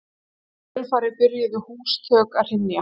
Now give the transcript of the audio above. í kjölfarið byrjuðu húsþök að hrynja